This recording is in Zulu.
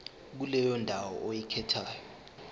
kuleyo ndawo oyikhethayo